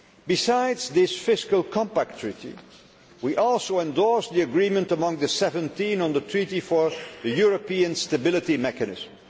treaty. Besides this Fiscal Compact Treaty, we also endorsed the agreement among the 17 on the Treaty for the European Stability Mechanism.